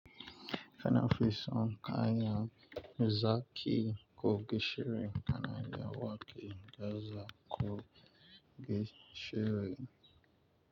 Kana fi son kayan zaki ko gishiri kana iya wake gaza kogeshi rem.